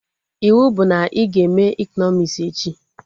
Iwu bụ na ị ga eme ekọnọmis echi!